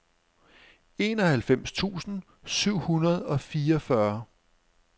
enoghalvfems tusind syv hundrede og fireogfyrre